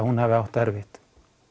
hún hafi átt erfitt